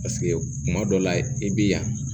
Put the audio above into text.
Paseke kuma dɔ la i bɛ yan